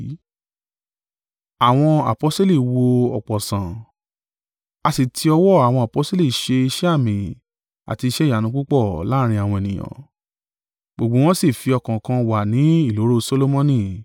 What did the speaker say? A sì ti ọwọ́ àwọn aposteli ṣe iṣẹ́ àmì àti iṣẹ́ ìyanu púpọ̀ láàrín àwọn ènìyàn. Gbogbo wọn sì fi ọkàn kan wà ní ìloro Solomoni.